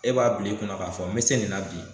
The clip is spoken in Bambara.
E b'a bila i kun k'a fɔ n me se nin na bi